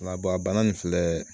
Wala a bana nin filɛ